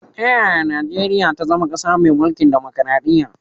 Ta yaya Nijeriya ta zama kasa mai mulkin dimukraɗiya?